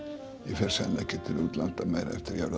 fer sennilega ekki til útlanda meira